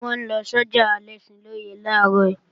Wọ́n lọ sọ́jà Alẹ́ṣinlọ́yẹ́ làárọ̀